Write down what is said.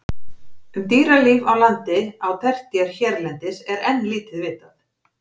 Um dýralíf á landi á tertíer hérlendis er enn lítið vitað.